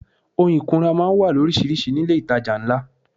Ohun ìkunra máa ń wà loríṣiríṣi ní ilé itàjà ńlá.